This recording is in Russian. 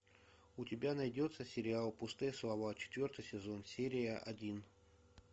у тебя найдется сериал пустые слова четвертый сезон серия один